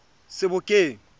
sebokeng